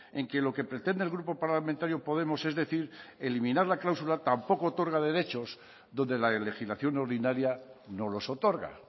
en que lo que pretende el grupo parlamentario podemos es decir eliminar la cláusula tampoco otorga derechos donde la legislación ordinaria no los otorga